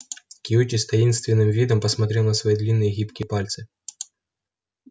кьюти с таинственным видом посмотрел на свои длинные гибкие пальцы